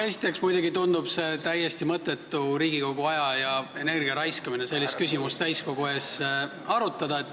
Esiteks muidugi tundub täiesti mõttetu Riigikogu aja ja energia raiskamisena sellist küsimust täiskogu ees arutada.